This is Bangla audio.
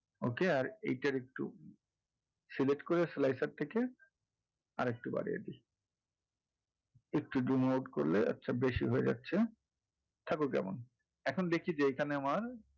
okay আর এইটার একটু select করে slicer থেকে আরেকটু বাড়িয়ে দেই একটু zoom out করলে একটু বেশি হয়ে যাচ্ছে থাকুক যেমন এখন দেখি যে এখানে আমার,